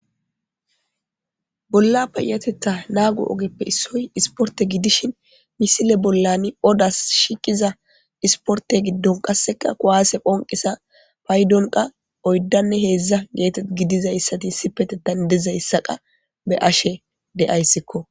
Pola payatetan nago ogepe issoy isporte gidishn ha misile bolan odas shiqiza esporte gidon qaseka kuwase phonqiza paydon qa oydanne hedza gidizaysa hesati issipetan dizaysa be'ashe de'ysikko